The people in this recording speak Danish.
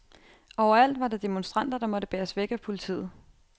Overalt var der demonstranter, der måtte bæres væk af politiet.